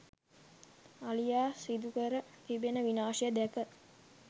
අලියා සිදුකර තිබෙන විනාශය දැක